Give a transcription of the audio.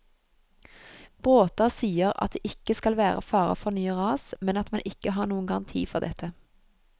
Bråta sier at det ikke skal være fare for nye ras, men at man ikke har noen garanti for dette.